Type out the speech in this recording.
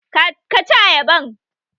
Ka ci ayaban!